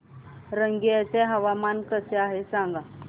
रंगिया चे हवामान कसे आहे सांगा